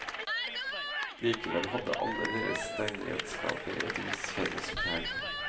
Likevel hadde alle deres steinredskaper et visst felles preg.